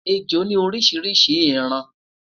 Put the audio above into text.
ẹjọ ni orishirishi iran